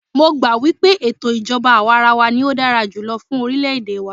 Mó gbà wípé ètò ìjọbá àwàrawa ní o dára jùlọ fún orilẹ ède wa.